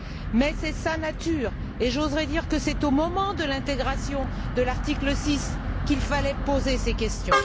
Mais c'est sa nature et j'oserais dire que c'est au moment de l'intégration de l'article 6 qu'il fallait poser ces questions.